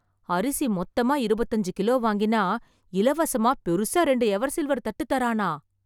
அரிசி மொத்தமா இருவத்து அஞ்சு கிலோ வாங்கினா, இலவசமா பெருசா ரெண்டு எவர்சில்வர் தட்டு தரானா..